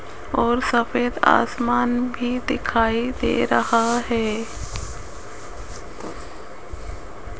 और सफेद आसमान भी दिखाई दे रहा है।